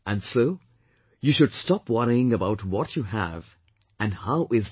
And so you should stop worrying about what you have and how is that